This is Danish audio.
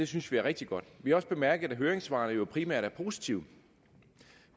synes vi er rigtig gode vi har også bemærket at høringssvarene jo primært er positive